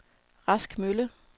Rask Mølle